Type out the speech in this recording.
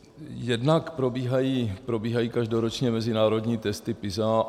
Jednak probíhají každoročně mezinárodní testy PISA.